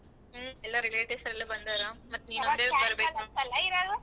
ಹ್ಮ ಎಲ್ಲಾ relatives ಎಲ್ಲಾ ಬಂದಾರ ಮತ್ ನೀನೊಂದೆ ಬರ್ಬೆಕ್.